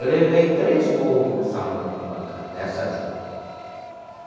Eu levei três bolos nessa mão pancada, nessa aqui.